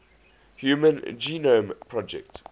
human genome project